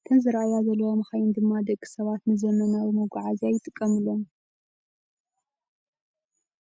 እተን ዝራኣያ ዘለዋ መኻይን ድማ ደቂ ሰባት ንዘመናዊ መጓዓዝያ ይጥቀምሎም።